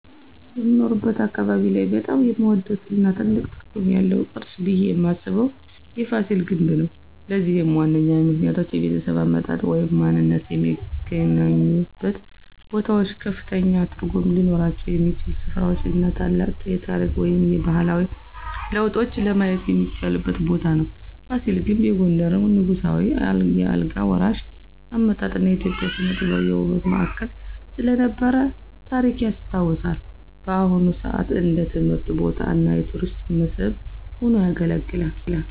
በምኖርበት አካባቢ ላይ በጣም የምወደው እና ትልቅ ትርጉም ያለው ቅርስ ብየ ማስበው የፋሲል ግንብ ነው። ለዚህም ዋነኛ ምክንያቶች -የቤተሰብ አመጣጥ ወይም ማንነትዎ የሚገናኙበት ቦታዎች ከፍተኛ ትርጉም ሊኖራቸው የሚችል ሥፍራ እና ታላቅ የታሪክ ወይም ባህላዊ ለውጥን ለማየት የሚቻልበት ቦታ ነው። ፋሲል ግንብ የጎንደርን ንጉሳዊ የአልጋ ወራሽ አመጣጥ እና የኢትዮጵያ ሥነ-ጥበብ የውበት ማዕከል ስለነበረ ታሪክ ያስታውሳል። በአሁን ሰአት እንደ ትምህርት ቦታ እና የቱሪስት መስህብ ሆኖ ያገለግላል።